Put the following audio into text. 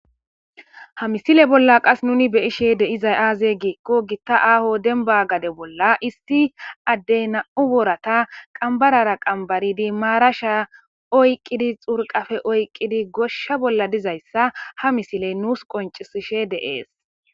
Ha missile bola qase nuni be'ishe de'izay aze giko gita aho demba gade bola issi ade nam'u boorata qambarara qambarid marasha oyqidi xurqafe oyqidi gosha dizaysa ha missile nus qonc'isishe de'es.